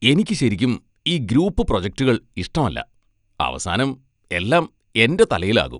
എനിക്ക് ശരിക്കും ഈ ഗ്രൂപ്പ് പ്രൊജക്റ്റുകൾ ഇഷ്ടമല്ല, അവസാനം എല്ലാം എന്റെ തലയിലാകും.